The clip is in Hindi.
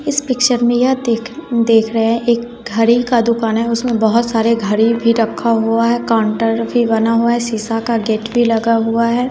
इस पिक्चर में यह दिख देख रहे है एक घड़ी का दुकान है उसमें बहोत सारे घड़ी भी रक्खा हुआ है काउंटर भी बना हुआ है सीसा का गेट भी लगा हुआ है।